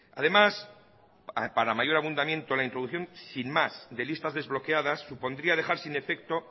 además para mayor abundamiento la introducción sin más de listas desbloqueadas supondría dejar sin efecto